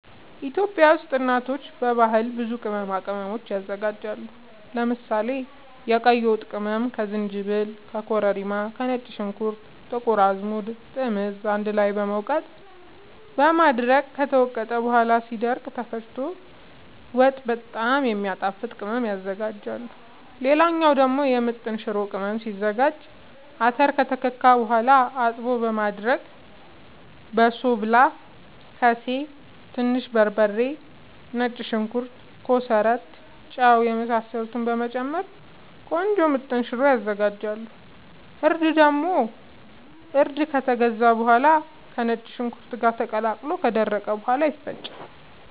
ኢትዮጵያ ውስጥ እናቶች በባህል ብዙ ቅመማ ቅመም ያዘጋጃሉ። ለምሳሌ፦ የቀይ ወጥ ቅመም ከዝንጅብል፣ ከኮረሪማ፣ ከነጭ ሽንኩርት፣ ጥቁር አዝሙድ፣ ጥምዝ አንድ ላይ በመውቀጥ በማድረቅ ከተወቀጠ በኋላ ሲደርቅ ተፈጭቶ ወጥ በጣም የሚያጣፋጥ ቅመም ያዝጋጃሉ። ሌላ ደግሞ የምጥን ሽሮ ቅመም ሲዘጋጅ :- አተር ከተከካ በኋላ አጥቦ በማድረቅ በሶብላ፣ ከሴ፣ ትንሽ በርበሬ፣ ነጭ ሽንኩርት፣ ኮሰረት፣ ጫው የመሳሰሉትን በመጨመር ቆንጆ ምጥን ሽሮ ይዘጋጃል። እርድ ደግሞ እርዱ ከተገዛ በኋላ ከነጭ ሽንኩርት ጋር ተቀላቅሎ ከደረቀ በኋላ ይፈጫል።